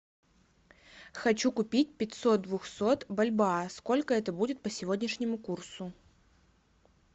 хочу купить пятьсот двухсот бальбоа сколько это будет по сегодняшнему курсу